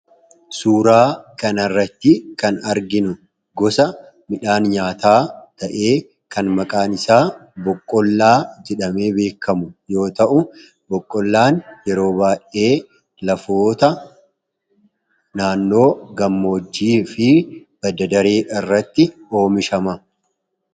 Suuraa kanarratti kan arginu gosa midhaan nyaataa ta'ee, kan maqaan isaa boqqollaa jedhamee beekamu yoo ta'u, boqqolloon yeroo baay'ee lafoota naannoo gammoojjii fi badda-daree irratti oomishama.